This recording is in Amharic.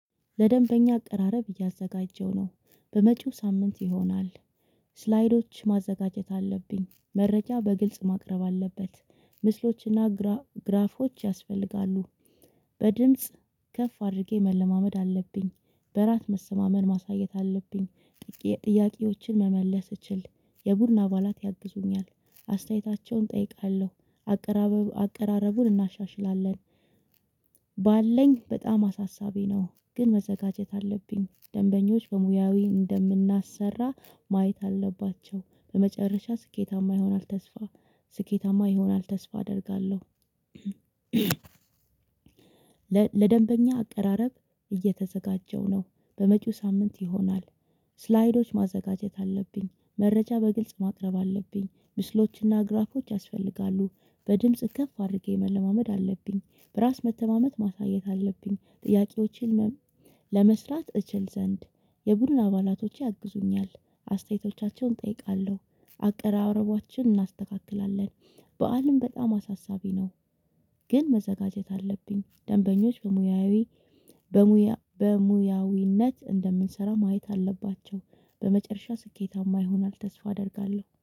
ለደንበኛ አቀራረብ እያዘጋጀው ነው በመጪው ሳምንት ይሆናል። ስላይዶች ማዘጋጀት አለብኝ መረጃ በግልጽ ማቅረብ አለበት። ምስሎችና ግራፎች ያስፈልጋሉ። በድምጽ ከፍ አድርጌ መለማመድ አለብኝ። በራት መሰማመን ማሳየት አለብኝ። ጥያቄ መመለስ እችል። የቡድን አባላት ያግዙኛል አስተያየታቸውን እጠይቃለሁ አቀራረቡን እናሻሽላለን። ባለኝ በጣም አሳሳቢ ነው ግን መዘጋጀት አለብኝ ደንበኞች በሙያዊ እንደምናሠራ ማየት አለባቸው። በመጨረሻ ስኬታማ ይሆናል ተስፋ ስኬታማ ይሆናል ተስፋ አደርጋለሁ። ለደንበኛ አቀራረብ እየተዘጋጀው ነው በመጪው ሳምንት ይሆናል። ስላይዶች ማዘጋጀት አለብኝ መረጃ በግልጽ ማቅረብ አለብኝ ምስሎችና ግራፎች ያስፈልጋሉ። በድምጽ ከፍ አድርጌ መለማመድ አለብኝ። በራስ መተማመን ማሳየት አለብኝ ጥያቄዎችን። ለመስራት እችል ዘንድ የቡድን አባላቶቼ ያግዙኛል አስተያየቶቻቸውን እጠይቃለሁ አቀራረቦችን እናስተካክላለን። በዓልም በጣም አሳሳቢ ነው። ግን መዘጋጀት አለብኝ ደንበኞች በሙያዊ በሙያ በሙያዊነት እንደምንሰራ ማየት አለባቸው። በመጨረሻ ስኬታማ ይሆናል ተስፋ አደርጋለሁ